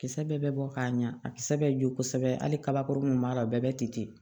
Kisɛ bɛɛ bɛ bɔ k'a ɲa a kisɛ bɛ jɔ kosɛbɛ hali kabakɔrɔni mun b'a la o bɛɛ bɛ ten